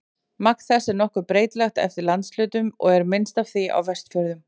Magn þess er nokkuð breytilegt eftir landshlutum og er minnst af því á Vestfjörðum.